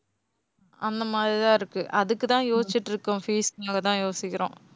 அந்த மாதிரி தான் இருக்கு. அதுக்கு தான் யோசிச்சிட்டு இருக்கோம். fees னால தான் யோசிக்கிறோம்